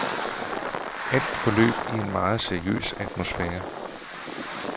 Alt forløb i en meget seriøs atmosfære.